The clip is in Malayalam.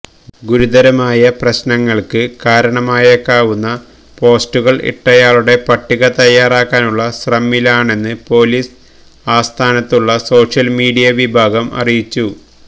ഗുരുതരമായ പ്രശ്നങ്ങൾക്ക് കാരണമായേക്കാവുന്ന പോസ്റ്റുകൾ ഇട്ടയാളുളുടെ പട്ടിക തയാറാക്കാനുള്ള ശ്രമിലാണെന്ന് പൊലീസ് ആസ്ഥാനത്തുള്ള സോഷ്യൽ മീഡിയ വിഭാഗം അറിയിച്ചു